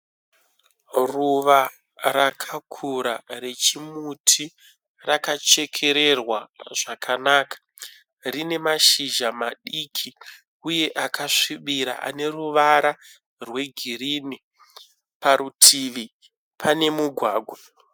Ruva rakakura rechimuti rakachekererwa zvakanaka. Rine mashizha madiki uye akasvibira ane ruvara rwegirini. Parutivi pane mugwagwa.